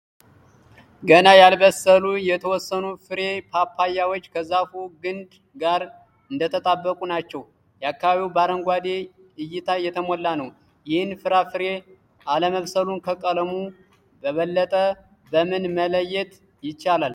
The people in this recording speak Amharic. ገና ያልበሰሉ የተወሰኑ ፍሬ ፓፓያዎች ከዛፉ ግንድ ጋር እንደተጣበቁ ናቸው። አካባቢው በአረንጓዴ እይታ የተሞላ ነው። ይህን ፍራፍሬ አለመብሰሉን ከቀለሙ በበለጠ በምን መለየት ይቻላል?